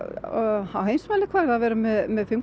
á heimsmælikvarða að vera með fimm